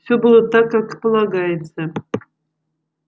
все было так как и полагается